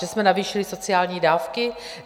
Že jsme navýšili sociální dávky?